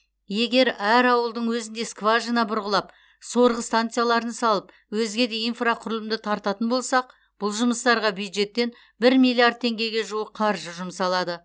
егер әр ауылдың өзінде скважина бұрғылап сорғы станцияларын салып өзге де инфрақұрылымды тартатын болсақ бұл жұмыстарға бюджеттен бір миллиард теңгеге жуық қаржы жұмсалады